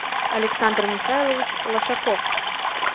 александр михайлович лошаков